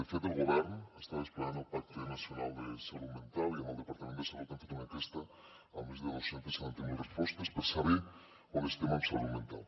de fet el govern està desplegant el pacte nacional de salut mental i amb el departament de salut hem fet una enquesta amb més de dos cents i setanta miler respostes per saber on estem en salut mental